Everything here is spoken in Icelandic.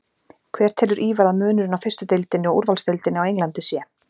Hver telur Ívar að munurinn á fyrstu deildinni og úrvalsdeildinni á Englandi sé?